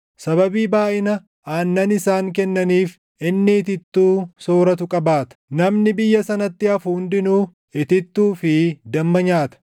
Sababii baayʼina aannan isaan kennaniif, inni itittuu sooratu qabaata. Namni biyya sanatti hafu hundinuu itittuu fi damma nyaata.